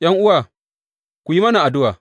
’Yan’uwa, ku yi mana addu’a.